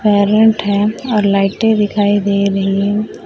है और लाइटे दिखाई दे रही है।